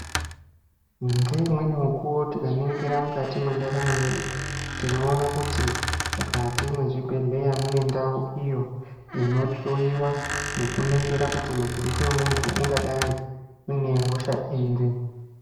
Ngeimweni mukuwo tikaningira mukati me ntaramo yedu, tinowona kuti mukati mezvibhedhleya munendawo iyo inohloriwa nekuningira kuti mutumbi wemuntu ungadai une hosha iri.